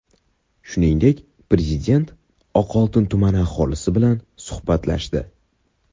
Shuningdek, Prezident Oqoltin tumani aholisi bilan suhbatlashdi .